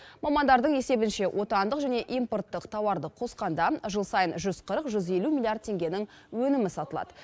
мамандардың есебінше отандық және импорттық тауарды қосқанда жыл сайын жүз қырық жүз елу миллиард теңгенің өнімі сатылады